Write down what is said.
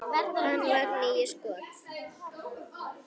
Hann varði níu skot.